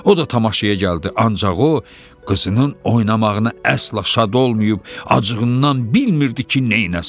O da tamaşaya gəldi, ancaq o qızının oynamağını əsla şad olmayıb, acığından bilmirdi ki, nəsin.